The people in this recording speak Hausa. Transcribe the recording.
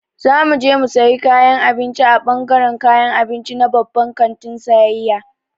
Za mu je mu sayi kayan abinci a ɓangaran kayan abinci na babban kantin sayayya.